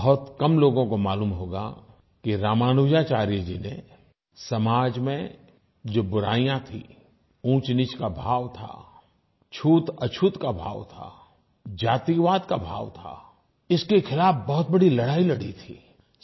बहुत कम लोगों को मालूम होगा कि रामानुजाचार्य जी ने समाज में जो बुराइयाँ थी ऊँचनीच का भाव था छूतअछूत का भाव था जातिवाद का भाव था इसके खिलाफ़ बहुत बड़ी लड़ाई लड़ी थी